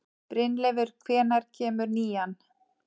Brynleifur, hvenær kemur nían?